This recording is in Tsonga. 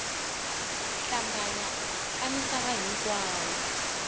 ku hlambanya ka misava hinkwayo